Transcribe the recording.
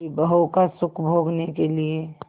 विभवों का सुख भोगने के लिए